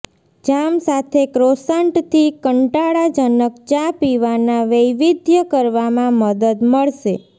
જામ સાથે ક્રોસન્ટથી કંટાળાજનક ચા પીવાના વૈવિધ્ય કરવામાં મદદ મળશે